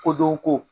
Kodɔn ko